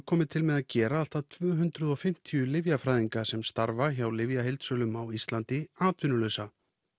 komi til með að gera allt að tvö hundruð og fimmtíu lyfjafræðinga sem starfa hjá lyfjaheildsölum á Íslandi atvinnulausa